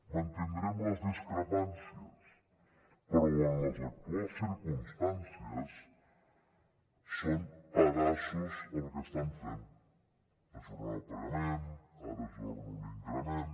mantindrem les discrepàncies però en les actuals circumstàncies són pedaços el que estan fent ajornar el pagament ara ajorno l’increment